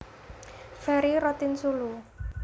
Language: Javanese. Ferry Rotinsulu